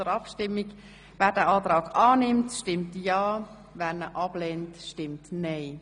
Wer diesen Kreditantrag annimmt, stimmt ja, wer ihn ablehnt, stimmt nein.